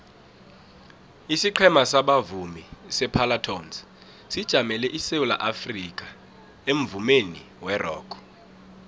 isiqhema sabavumi separlatones sijamele isewula afrikha emvumeni werock